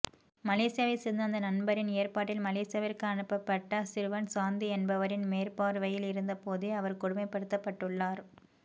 மலேசியாவைச் சேர்ந்த அந்த நண்பரின் ஏற்பாட்டில் மலேசியாவிற்கு அனுப்பட்ட சிறுவன் சாந்தி என்பவரின் மேற்பார்வையில் இருந்தபோதே அவர் கொடுமைப்படுத்தப் பட்டுள்ளார்